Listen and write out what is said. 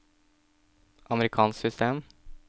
amerikansk system